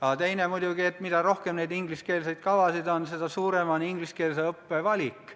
Aga teine põhjus on muidugi see, et mida rohkem neid ingliskeelseid kavasid on, seda suurem on ingliskeelse õppe valik.